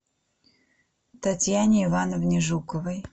татьяне ивановне жуковой